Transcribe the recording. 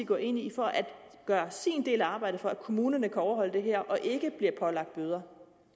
går ind i for at gøre sin del af arbejdet for at kommunerne kan overholde det her og ikke bliver pålagt bøder